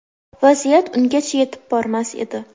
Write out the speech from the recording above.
Vaziyat ungacha yetib bormas edi.